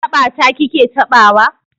Haɓa ta ki ke taɓawa?